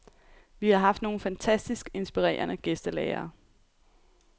Vi har haft nogle fantastisk inspirerende gæstelærere.